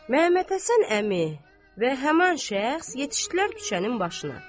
Məmmədhəsən əmi və həmin şəxs yetişdilər küçənin başına.